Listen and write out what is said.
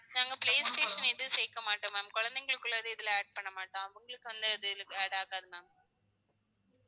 நாங்க play station எதும் சேர்க்க மாட்டோம் ma'am கொழந்தைகளுக்குள்ளத இதுல add பண்ண மாட்டோம் அவங்களுக்கு அந்த இது add ஆகாது ma'am